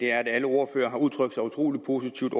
er at alle ordførere har udtrykt sig utrolig positivt